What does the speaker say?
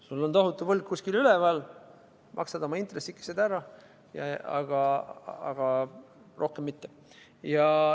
Sul on tohutu võlg kuskil üleval, maksad oma intressikesed ära, aga rohkem mitte.